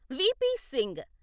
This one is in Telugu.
వి.పి. సింగ్